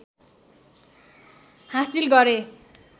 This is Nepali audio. हासिल गरे